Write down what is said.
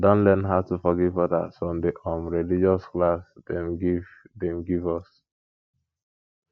i don learn how to forgive others from di um religious class dem give dem give us